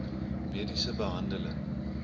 mediese behandeling